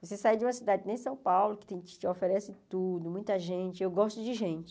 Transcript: Você sair de uma cidade que nem São Paulo, que te oferece tudo, muita gente, eu gosto de gente.